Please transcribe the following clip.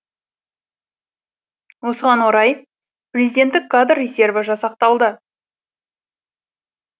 осыған орай президенттік кадр резерві жасақталды